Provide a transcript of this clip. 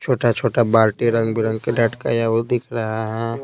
छोटा-छोटा बाल्टी रंग बिरंग के डटकाया वो दिख रहा है।